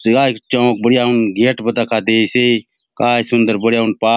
शिवाजी चौक बढ़िया हुन गेट बले दखा देयसे काय सुंदर बढ़िया हुन पा --